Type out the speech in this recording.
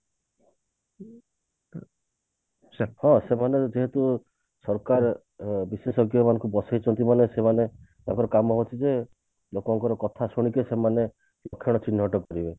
ହଁ ସେମାନେ ଯେହେତୁ ସରକାର ଅ ବିଶେଷଜ୍ଞ ମାନଙ୍କୁ ବସେଇଛନ୍ତି ମାନେ ସେମାନେ ତାଙ୍କର କାମ ହଉଛି ଯେ ଲୋକଙ୍କର କଥା ଶୁଣିକି ସେମାନେ ଚିହ୍ନଟ କରିବେ